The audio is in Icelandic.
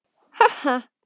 Ha, ha!